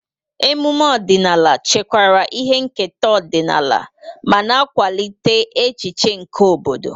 Ememe ọdịnala chekwara ihe nketa ọdịnala ma na-akwalite echiche nke obodo.